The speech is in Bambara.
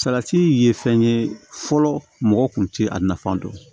Salati ye fɛn ye fɔlɔ mɔgɔw kun tɛ a nafan dɔn